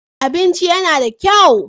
Abincin yana da kyau.